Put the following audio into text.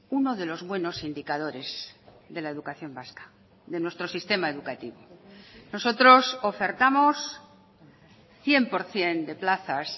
uno de los buenos indicadores de la educación vasca de nuestro sistema educativo nosotros ofertamos cien por ciento de plazas